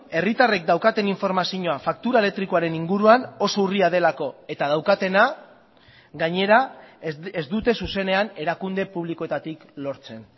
herritarrek daukaten informazioa faktura elektrikoaren inguruan oso urria delako eta daukatena gainera ez dute zuzenean erakunde publikoetatik lortzen